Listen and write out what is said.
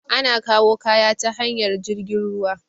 Ana kawu kaya ta hanyar jirgin ruwa